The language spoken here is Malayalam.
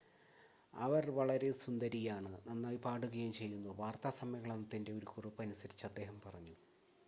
അവൾ വളരെ സുന്ദരിയാണ് നന്നായി പാടുകയും ചെയ്യുന്നു വാർത്താ സമ്മേളനത്തിൻ്റെ ഒരു കുറിപ്പ് അനുസരിച്ച് അദ്ദേഹം പറഞ്ഞു